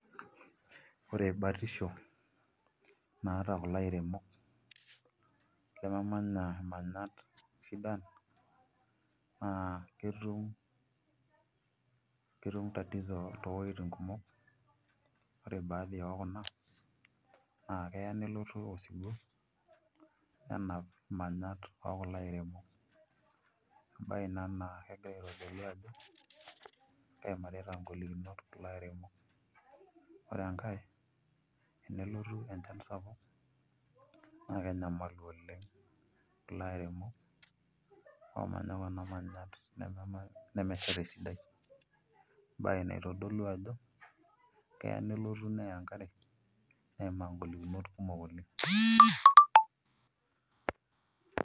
Ore batisho naata kulo airemok lememanya imanyat sidan naa ketum tatizo toowuejitin kumok ore baadhi ekuna naa keya nelotu osiwuo nenap imanyat ookulo airemok embaye ina naitodolu ajo keimarita ngolikinot kulo airemok, ore enkae naa enelotu enchan sapuk naa kenyamalu oleng' kulo airemok oomanya kuna manyat nemesheta esidai embaye naitodolu ajo keya nelotu neya enkare neimaa ngolikinot kumok oleng'.